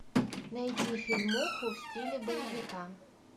найди фильмуху в стиле боевика